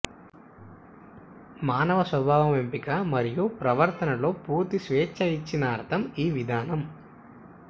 మానవ స్వభావం ఎంపిక మరియు ప్రవర్తన లో పూర్తి స్వేచ్ఛ ఇచ్చిన అర్థం ఈ విధానం